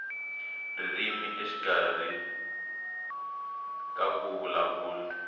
ririmi exikarhi ka ku vulavula